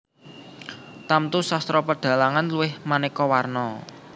Tamtu sastra pedhalangan luwih maneka warna